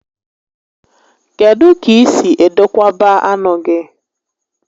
Kedụ ka i si edokwaba anụ gị?